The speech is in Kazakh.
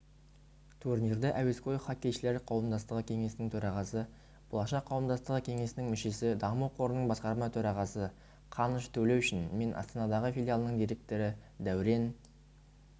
турнирді әуесқой хоккейшілер қауымдастығы кеңесінің төрағасы болашақ қауымдастығы кеңесінің мүшесі даму қорының басқарма төрағасы қаныш төлеушин мен астанадағы филиалының директоры дәурен